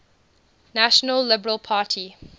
national liberal party